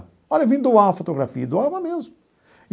Olha, vim doar uma fotografia e doava mesmo.